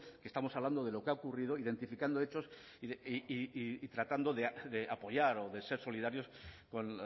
estamos hablando de lo que ha ocurrido identificando hechos y tratando de apoyar o de ser solidarios con